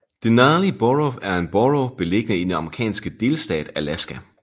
Denali Borough er en borough beliggende i den amerikanske delstat Alaska